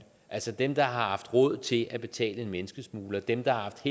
altså dem der har haft råd til at betale en menneskesmugler dem der har haft